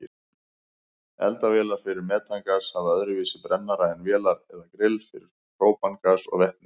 Eldavélar fyrir metangas hafa öðruvísi brennara en vélar eða grill fyrir própangas og vetni.